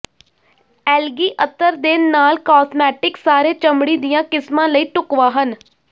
algae ਅਤਰ ਦੇ ਨਾਲ ਕਾਸਮੈਟਿਕਸ ਸਾਰੇ ਚਮੜੀ ਦੀਆਂ ਕਿਸਮਾਂ ਲਈ ਢੁਕਵਾਂ ਹਨ